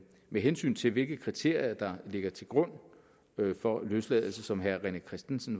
med hensyn til hvilke kriterier der ligger til grund for løsladelse som herre rené christensen